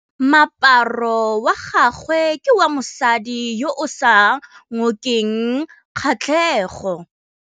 Moaparô wa gagwe ke wa mosadi yo o sa ngôkeng kgatlhegô.